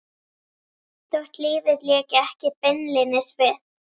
Þótt lífið léki ekki beinlínis við